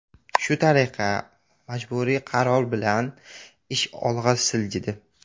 Shu tariqa, ma’muriy qaror bilan, ish olg‘a siljidi.